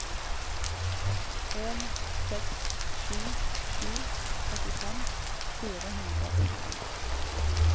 en seks sju sju trettifem fire hundre og tolv